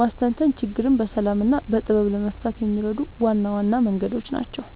ማስተንተን ችግርን በሰላም እና በጥበብ ለመፍታት የሚረዱ ዋና ዋና መንገዶች ናቸው።